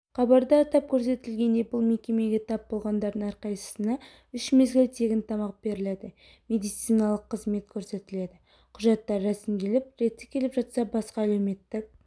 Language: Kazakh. хабарда атап көрсетілгендей бұл мекемеге тап болғандардың әрқайсысына үш мезгіл тегін тамақ беріледі медициналық қызмет көрсетіледі құжаттары рәсімделіп реті келіп жатса басқа әлеуметтік